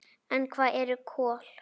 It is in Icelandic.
En hvað eru kol?